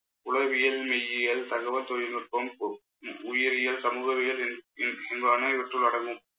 உளவியல் மெய்யியல், தகவல் தொழில்நுட்பம், உ~ உயிரியல், சமூகவியல் என்னும் இயல்~ இயல்பான இவற்றுள் அடங்கும்